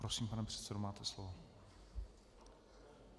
Prosím, pane předsedo, máte slovo.